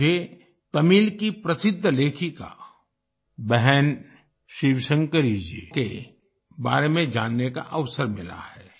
मुझे तमिल की प्रसिद्ध लेखिका बहन शिवशंकरी जी के बारे में जानने का अवसर मिला है